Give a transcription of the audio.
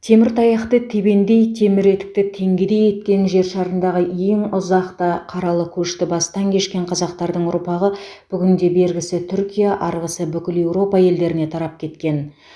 темір таяқты тебендей темір етікті теңгедей еткен жер шарындағы ең ұзақ та қаралы көшті бастан кешкен қазақтардың ұрпағы бүгінде бергісі түркия арғысы бүкіл еуропа елдеріне тарап кеткен